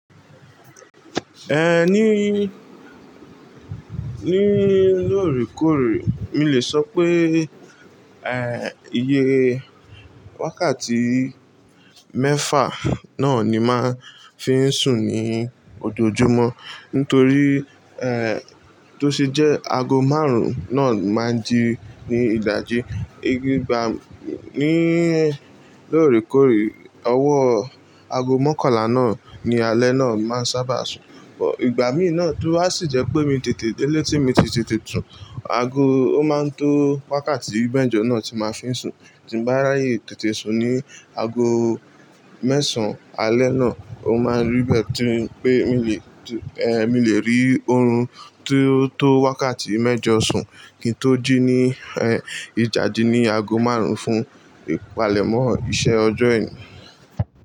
Ní, ní lóòrèkóòrè, mí le sọ pé, iye wákàtí mẹ́fà náà ni màá fi ń sùn ní ojoojúmọ́. Nítorí, tó ṣe jẹ́ aago márùn-ún náà máa di ní ìdájí. Igi ìgbà ní lóòrèkóòrè, owó aago mọ́kànlá náà ni alẹ́ náà máa ń sábà sùn. But ìgbà mí náà tó a sì jẹ́ pé mi tètè délé tí mi tètè tún aago ó máa ń tó wákàtí mẹ́jọ náà tí màá fi ń sùn. Tí bàá ráyè tètè sùn ní aago mẹ́sàn-án alẹ́ náà, ó máa rí bẹ́ẹ̀ tí pé mí le, ehn, mí le rí oorun tó tó wákàtí mẹ́jọ sùn kí n tó jí ní, ìdájí ní aago márùn-ún fún ìpalẹ̀mọ́ iṣẹ́ ọjọ́ ẹni.